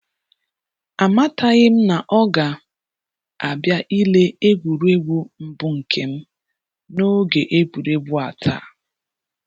Amataghịm na ọ ga um abịa ile egwuregwu mbụ nkem na oge egwuregwu a taa